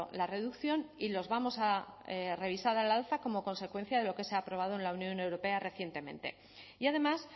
la reducción y los vamos a revisar al alza como consecuencia de lo que se ha aprobado en la unión europea recientemente y además